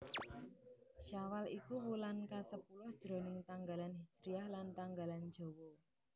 Syawal iku wulan kasepuluh jroning tanggalan hijriyah lan tanggalan Jawa